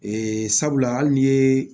Ee sabula hali ni ye